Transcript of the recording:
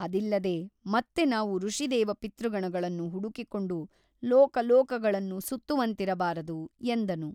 ಅದಿಲ್ಲದೆ ಮತ್ತೆ ನಾವು ಋಷಿದೇವ ಪಿತೃಗಣಗಳನ್ನು ಹುಡುಕಿಕೊಂಡು ಲೋಕಲೋಕಗಳನ್ನು ಸುತ್ತುವಂತಿರಬಾರದು ಎಂದನು.